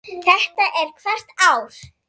Þetta er hvert ár?